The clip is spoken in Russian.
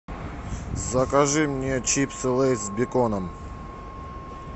закажи мне чипсы лейс с беконом